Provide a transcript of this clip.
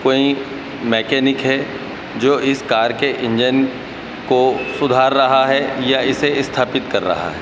कोई मैकेनिक है जो इस कार के इंजन को सुधार रहा है या इसे स्थापित कर रहा है।